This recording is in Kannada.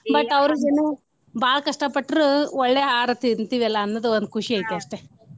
But ಅವ್ರಿಗನು ಬಾಳ ಕಷ್ಟಾ ಪಟ್ರು ಒಳ್ಳೆ ಆಹಾರ ತಿಂತಿವಿ ಅಲಾ ಅನ್ನೋದ್ ಒಂದ್ ಖುಷಿ ಐತಿ ಅಷ್ಟೆ.